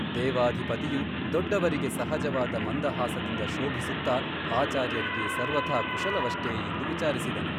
ದೇವಾಧಿಪತಿಯು ದೊಡ್ಡವರಿಗೆ ಸಹಜವಾದ ಮಂದಹಾಸದಿಂದ ಶೋಭಿಸುತ್ತ ಆಚಾರ್ಯರಿಗೆ ಸರ್ವಥಾ ಕುಶಲವಷ್ಟೇ ಎಂದು ವಿಚಾರಿಸಿದನು.